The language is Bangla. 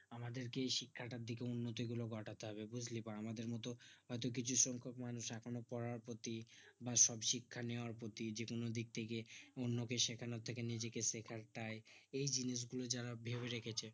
আমাদেরকে এই শিক্ষাটার দিকে উন্নতি গুলো ঘটাতে হবে বুজলি বা আমাদের মতো হয়তো কিছু সংখক মানুষ পড়ার প্রতি বা শিক্ষা নেয়ার প্রতি যে কোনো দিক থেকে অন্য কে শেখানোর থেকে নিজেকে শেখাটাই এই জিনিস গুলো যারা ভেবে রেখেছে